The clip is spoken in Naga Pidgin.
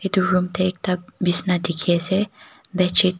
itu room tey ekta bisna dikhi ase bedsheet .